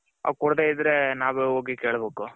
ಕೊಡದೆಇದ್ರೆ ನಾವೇ ಹೋಗಿ ಕೇಳಬೇಕು .